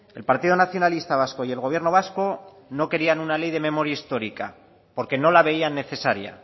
el partido nacionalista vasco y el gobierno vasco no querían una ley de memoria histórica porque no la veían necesaria